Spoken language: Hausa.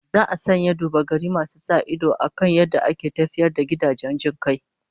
Za a sanya duba-gari masu sa ido akan yadda ake tafiyar da gidajen jin kai